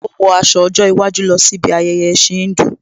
Ó wọ aṣọ ọjọ́ iwájú lọ sí bi ayẹyẹ ẹ̀ẹ̀sìn Híńdù